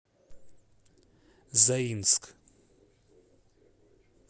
заинск